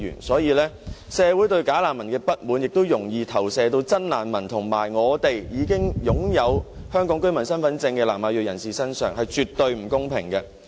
所以，社會對"假難民"的不滿亦容易投射到真難民及已經擁有香港居民身份證的南亞裔人士身上，這是絕對不公平的。